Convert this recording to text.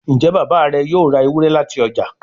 njé Bàbá rẹ yóò rá Ewúrẹ́ láti ọjà?